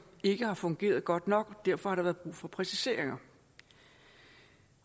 ikke har fungeret godt nok derfor har der været brug for præciseringer